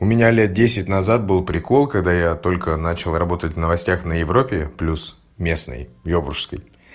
у меня лет десять назад был прикол когда я только начал работать в новостях на европе плюс местный ёбуршской